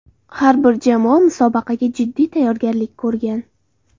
Har bir jamoa musobaqaga jiddiy tayyorgarlik ko‘rgan.